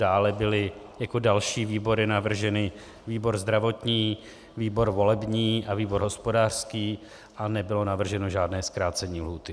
Dále byly jako další výbory navrženy výbor zdravotní, výbor volební a výbor hospodářský a nebylo navrženo žádné zkrácení lhůty.